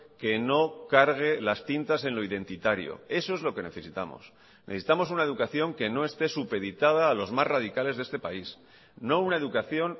que no cargue las tintas en lo identitario eso es lo que necesitamos necesitamos una educación que no esté supeditada a los más radicales de este país no una educación